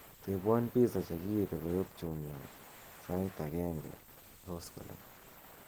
tebwon pizza chegiibe koyop jumia sait agenge koskolen